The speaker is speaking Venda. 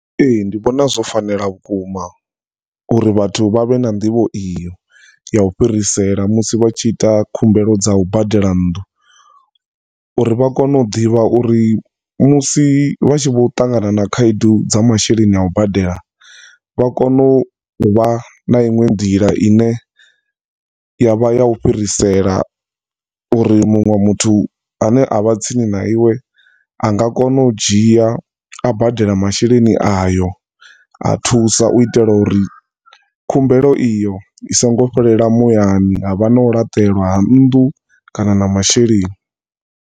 Ee, ndi vhona zwo fanela vhukuma uri vhathu vha vhe na nḓivho iyo ya u fhirisela musi vhatshi ita khumbelo dza u badela nnḓu uri vha kone u ḓivha uri musi vhatshi vho ṱangana na khaedu dza masheleni a u badela vha kone uvha na iṅwe nḓila ine yavha ya u fhirisela uri munwe muthu ane avha tsini na iwe anga kona u dzhia a badela masheleni ayo a thusa u itela uri khumbelo iyo isingo fhelela muyani havha na u laṱelwa ha nnḓu kana na masheleni.